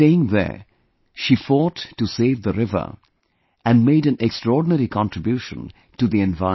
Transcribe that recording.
Staying there, she fought to save the river and made an extraordinary contribution to the environment